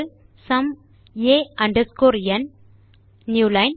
sum a underscore n new line